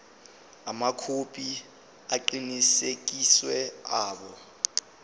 amakhophi aqinisekisiwe abo